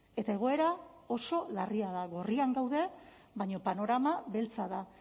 eta egoera oso larria da gorrian gaude baina panorama beltza da